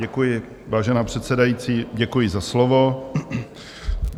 Děkuji, vážená předsedající, děkuji za slovo.